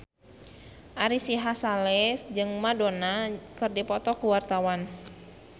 Ari Sihasale jeung Madonna keur dipoto ku wartawan